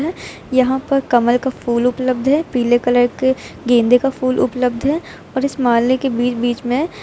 यहां पर कमल का फूल उपलब्ध है पीले कलर के गेंदे का फूल उपलब्ध है और इस माले के बीच बीच में--